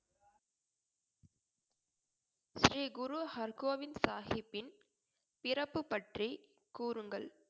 ஸ்ரீ குரு ஹர்கோபிந்த் சாஹிப்பின் பிறப்பு பற்றி கூறுங்கள்